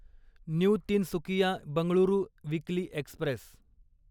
new Tinsukia Bengaluru weekly Express